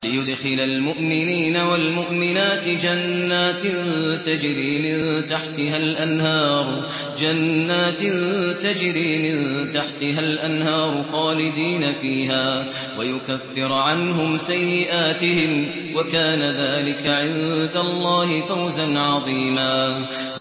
لِّيُدْخِلَ الْمُؤْمِنِينَ وَالْمُؤْمِنَاتِ جَنَّاتٍ تَجْرِي مِن تَحْتِهَا الْأَنْهَارُ خَالِدِينَ فِيهَا وَيُكَفِّرَ عَنْهُمْ سَيِّئَاتِهِمْ ۚ وَكَانَ ذَٰلِكَ عِندَ اللَّهِ فَوْزًا عَظِيمًا